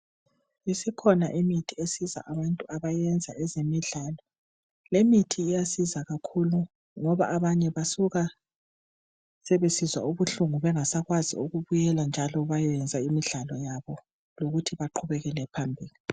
Isikhona imithi esiza abantu abayenza ezemidlalo. Lemithi iyasiza kakhulu ngoba abanye basuka sebesizwa ubuhlungu bengasakwazi ukubuyela njalo bayenza imidlalo yabo lokuthi baqubekele phambili.